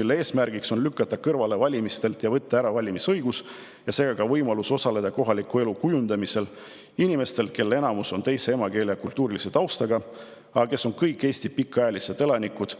mille eesmärk on lükata nad valimistelt kõrvale, võtta ära valimisõigus ja seega ka võimalus osaleda kohaliku elu kujundamisel inimestelt, kelle enamus on teise emakeele ja kultuurilise taustaga, aga kes on kõik Eesti pikaajalised elanikud.